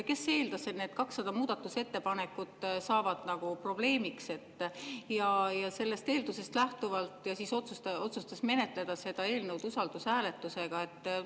Kes eeldas, et need 200 muudatusettepanekut saavad probleemiks, ja sellest eeldusest lähtuvalt otsustas menetleda seda eelnõu usaldushääletusega?